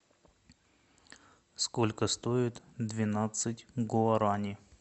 сколько стоит двенадцать гуарани